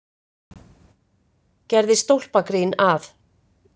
Ég gerði stólpagrín að